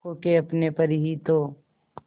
खो के अपने पर ही तो